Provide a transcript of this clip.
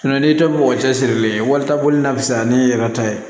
n'i dɔ bɔ mɔgɔ cɛsirilen ye walita boli la sisan ne yɛrɛ ta ye